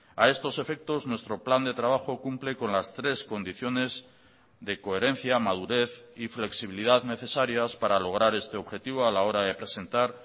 a estos efectos nuestro plan de trabajo cumple con las tres condiciones de coherencia madurez y flexibilidad necesarias para lograr este objetivo a la hora de presentar